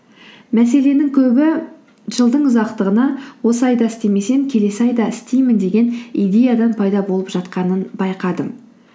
мәселенің көбі жылдың ұзақтығына осы айда істемесем келесі айда істеймін деген идеядан пайда болып жатқанын байқадым